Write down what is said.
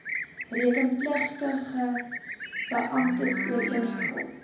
rekenpligtige beamptes ooreengekom